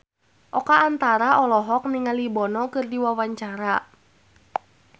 Oka Antara olohok ningali Bono keur diwawancara